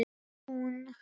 Var hún?!